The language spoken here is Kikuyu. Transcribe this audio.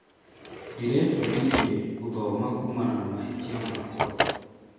Ndĩrebundithire gũthoma kuumana na mahĩtia makwa.